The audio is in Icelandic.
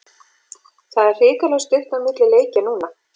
Það er hrikalega stutt á milli leikja núna.